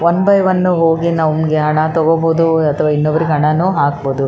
One by one ಹೋಗಿ ನಮಗೆ ಹಣ ತಗೋಬಹುದು ಅಥವಾ ಇನ್ನೊಬ್ಬರಿಗೆ ಹಣನು ಹಾಕ್ಬಹುದು.